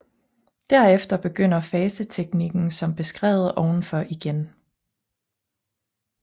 Derefter begynder faseteknikken som beskrevet ovenfor igen